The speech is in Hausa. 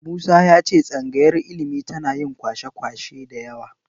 Musa ya ce tsangayar ilimi tana yin kwasa-kwasai da yawa.